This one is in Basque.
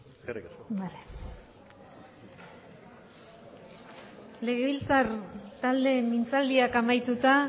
eskerrik asko legebiltzar taldeen mintzaldiak amaituta